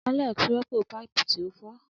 Alex rọpo paipu ti o fọ.